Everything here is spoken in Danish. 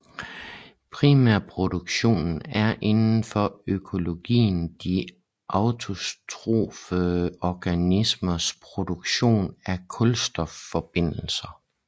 Primærproduktionen er inden for økologien de autotrofe organismers produktion af kulstofforbindelser